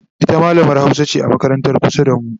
ita mallamar Hausa ce a makarantar kusa da mu